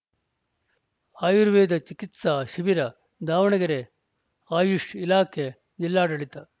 ಆಯುರ್ವೇದ ಚಿಕಿತ್ಸಾ ಶಿಬಿರ ದಾವಣಗೆರೆ ಅಯುಷ್‌ ಇಲಾಖೆ ಜಿಲ್ಲಾಡಳಿತ